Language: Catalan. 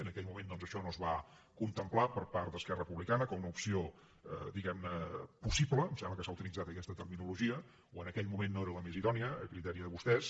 en aquell moment doncs això no es va contemplar per part d’esquerra republicana com una opció diguem ne possible em sembla que s’ha utilitzat aquesta terminologia o en aquell moment no era la més idònia a criteri de vostès